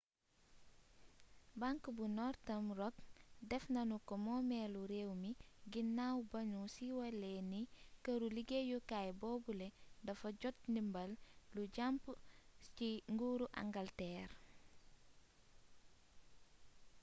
bank bu northern rock def nanu ko moomeelu réew mi gannaaw ba nu siiwalee ne këru liggéeyukaay boobule dafa jot ndimbal lu jàmp ci nguuru angalteer